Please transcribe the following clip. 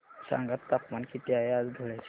सांगा तापमान किती आहे आज धुळ्याचे